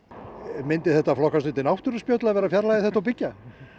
myndi það flokkast undir náttúruspjöll að fjarlægja þetta og byggja